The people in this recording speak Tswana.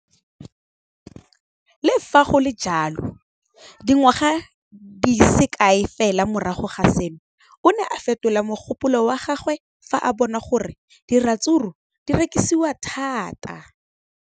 Le fa go le jalo, dingwaga di se kae fela morago ga seno, o ne a fetola mogopolo wa gagwe fa a bona gore diratsuru di rekisiwa thata.